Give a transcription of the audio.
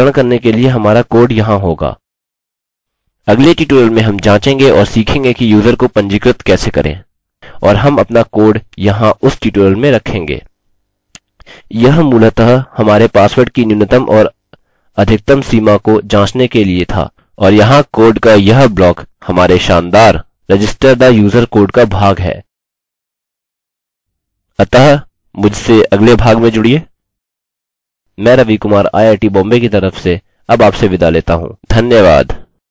अतः मुझसे अगले भाग में जुड़िये मैं Ravi Kumar I I T Bombay की तरफ से अब आपसे विदा लेता हूँ धन्यवाद